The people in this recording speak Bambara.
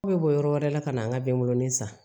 Aw bɛ bɔ yɔrɔ wɛrɛ la ka na an ka bɛnɛ san